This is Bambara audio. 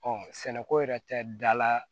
sɛnɛko yɛrɛ tɛ dala